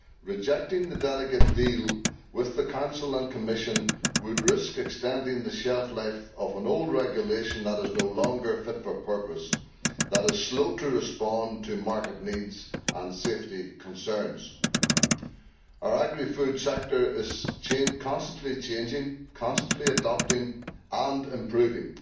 Rejecting the delegate deal with the Council and Commission would risk extending the shelf life of an old regulation that is no longer fit for purpose and that is slow to respond to market needs and safety concerns. Our agri food sector is constantly changing, constantly adapting and improving.